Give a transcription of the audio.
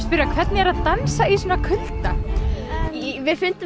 spyrja hvernig er að dansa í svona kulda við fundum